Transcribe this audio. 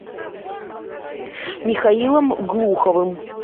михаилом глуховым